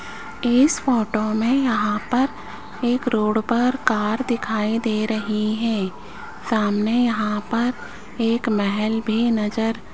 इस फोटो में यहां पर एक रोड पर कार दिखाई दे रहे है सामने यहां पर एक महल भी नजर --